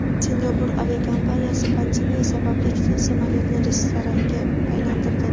Singapur aviakompaniyasi pandemiya sababli ikkita samolyotni restoranga aylantirdi.